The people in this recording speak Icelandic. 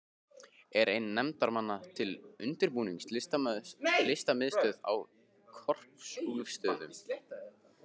Er einn nefndarmanna til undirbúnings Listamiðstöð á Korpúlfsstöðum.